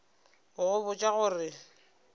go go botša go re